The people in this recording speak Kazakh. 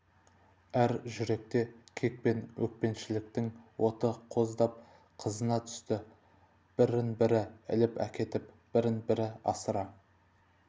әр жүректе кек пен өшпенділіктің оты қоздап қызына түсті бірін бірі іліп әкетп бірінен бірі асыра